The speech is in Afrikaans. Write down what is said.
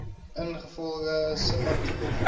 ingevolge subartikel verval